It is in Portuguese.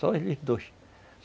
Só eles dois.